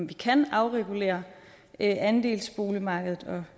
vi kan afregulere andelsboligmarkedet